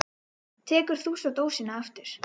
Tekur þú svo dósina aftur?